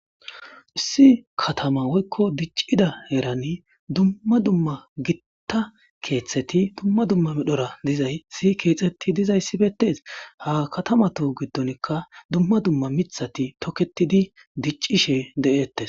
Issi dicida heran gitakatama gidon duma duma gita keththati kexeti didaysi betes. Ha kata gidonika duma duma mitati toketidi dicishe detes.